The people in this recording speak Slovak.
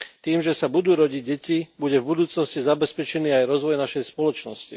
Tým, že sa budú rodiť deti, bude v budúcnosti zabezpečený aj rozvoj našej spoločnosti.